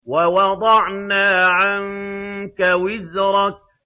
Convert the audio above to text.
وَوَضَعْنَا عَنكَ وِزْرَكَ